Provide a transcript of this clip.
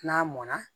N'a mɔnna